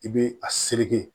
I bɛ a sege